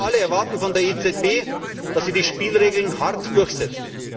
Nein, wir alle erwarten von der EZB, dass sie die Spielregeln hart durchsetzt!